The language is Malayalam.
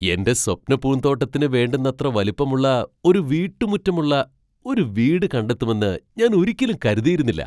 എന്റെ സ്വപ്ന പൂന്തോട്ടത്തിന് വേണ്ടുന്നത്ര വലിപ്പമുള്ള ഒരു വീട്ടുമുറ്റമുള്ള ഒരു വീട് കണ്ടെത്തുമെന്ന് ഞാൻ ഒരിക്കലും കരുതിയിരുന്നില്ല.